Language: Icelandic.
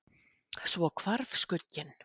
Svo hvarf skugginn.